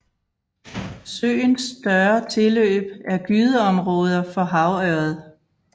Søens større tilløb er gydeområder for havørred